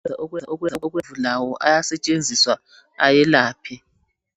Amaluba lawo ayasetshenziswa ayelapha.